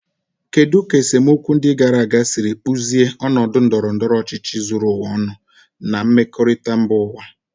Kedu ka esemokwu ndị gara aga siri kpụzie ọnọdụ ndọrọ ndọrọ ọchịchị zuru ụwa ọnụ na mmekọrịta mba ụwa?